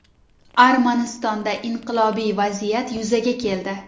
Armanistonda inqilobiy vaziyat yuzaga keldi.